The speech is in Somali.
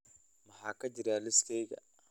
maxaa ka jira liiskayga